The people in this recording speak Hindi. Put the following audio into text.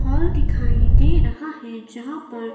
हॉल दिखाई दे रहा हैं जहां पर--